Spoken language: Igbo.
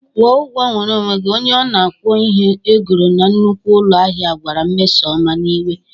Gwọ ọgwọ nwere onwe gị', onye ọna ọgwọ ihe e goro na nnukwu ụlọ ahịa gwara Mmesoma n'iwe!